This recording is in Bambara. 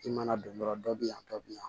I mana don yɔrɔ dɔ bɛ yan dɔ bɛ yan